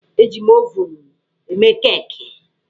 Eji m ovunụ eme keeki.